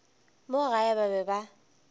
mo gae ba be ba